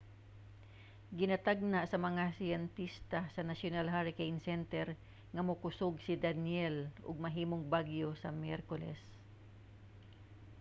ginatagna sa mga siyentista sa national hurricane center nga mokusog si danielle ug mahimong bagyo sa miyerkules